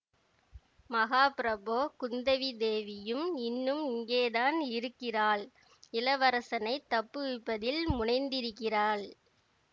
மகாப்பிரபோ குந்தவி தேவியும் இன்னும் இங்கேதான் இருக்கிறாள் இளவரசனைத் தப்புவிப்பதில் முனைந்திருக்கிறாள்